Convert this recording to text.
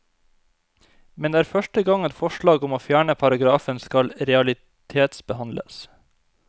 Men det er første gang et forslag om å fjerne paragrafen skal realitetsbehandles.